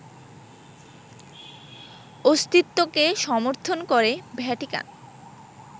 অস্তিত্বকে সমর্থন করে ভ্যাটিকান